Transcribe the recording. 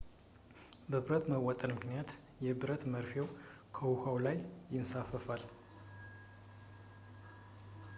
በብረት መወጠር ምክንያት የብረት መርፌው በውሃው ላይ ይንሳፈፋል